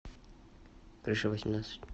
крыша восемнадцать